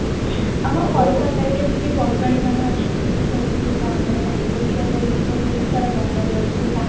ଆମ କଲକତାରେ ଯେମତି ବଙ୍ଗାଳୀ ମାନେ ଅଛନ୍ତି ସେମିତି ତ ଆମର ବାଲେଶ୍ଵରରେ ବି ବହୁତ ସାରା ବଙ୍ଗାଳୀ ଅଛନ୍ତି